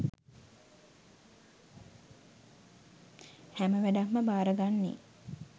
හැම වැඩක්ම බාරගන්නේ